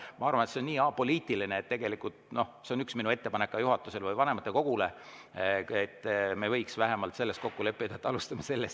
Ma arvan, et see on nii apoliitiline, ja see on ka üks minu ettepanek juhatusele või vanematekogule, et me võiks vähemalt selles kokku leppida, et alustame.